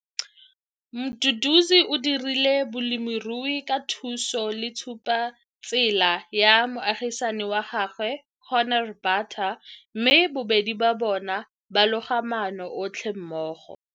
Mduduzi o dirisa bolemirui ka thuso le tshupetsotsela ya moagisani wa gagwe, Corne Butter, mme bobedi ba bona ba loga maano otlhe mmogo.